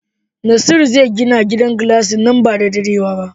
Nasir zai gina gidan gilashi nan ba da daɗewa ba.